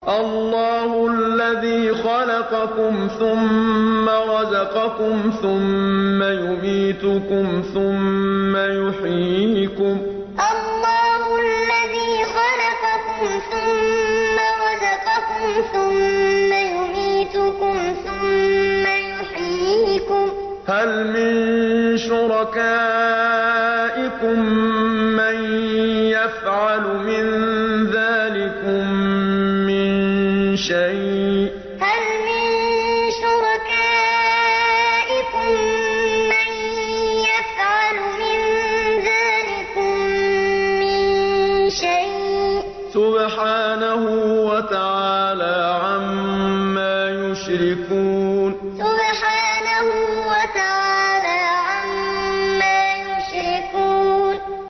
اللَّهُ الَّذِي خَلَقَكُمْ ثُمَّ رَزَقَكُمْ ثُمَّ يُمِيتُكُمْ ثُمَّ يُحْيِيكُمْ ۖ هَلْ مِن شُرَكَائِكُم مَّن يَفْعَلُ مِن ذَٰلِكُم مِّن شَيْءٍ ۚ سُبْحَانَهُ وَتَعَالَىٰ عَمَّا يُشْرِكُونَ اللَّهُ الَّذِي خَلَقَكُمْ ثُمَّ رَزَقَكُمْ ثُمَّ يُمِيتُكُمْ ثُمَّ يُحْيِيكُمْ ۖ هَلْ مِن شُرَكَائِكُم مَّن يَفْعَلُ مِن ذَٰلِكُم مِّن شَيْءٍ ۚ سُبْحَانَهُ وَتَعَالَىٰ عَمَّا يُشْرِكُونَ